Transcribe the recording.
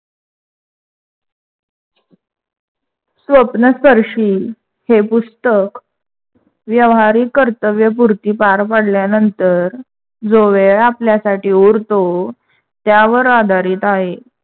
स्वप्नस्पर्शी हे पुस्तक व्यावहारिक कर्तव्यपुरती पार पाडल्या नंतर जो वेळ आपल्यासाठी उरतो त्यावर आधारित आहे.